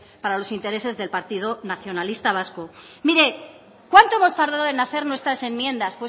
para los intereses del partido nacionalista vasco mire cuánto hemos tardado en hacer nuestras enmiendas